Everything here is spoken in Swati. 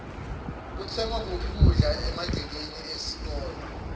kutsengwa kuphi kudla emagcekeni esikolwe